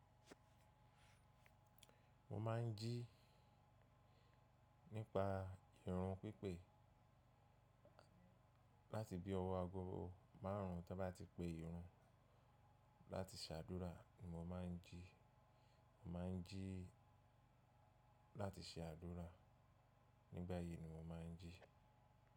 Mo máà ń jí nípa irun pípé láti bí ọwọ́ agogo márùn ún to ba tí pé ìrun láti ṣe àdúrà ni mo máà ń jí. Mo máà ń jí láti ṣe àdúrà nígbà yìí ni mo máà ń jí.